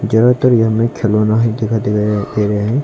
ज्यादातर यहां में खिलौना है दिखाई दे रहे है दे रहे हैं।